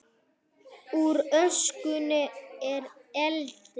Úr öskunni í eldinn